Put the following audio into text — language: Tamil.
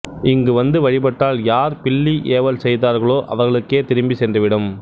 இங்கு வந்து வழிபட்டால் யார் பில்லி ஏவல் செய்தார்களோ அவர்களுக்கே திரும்பி சென்று விடும்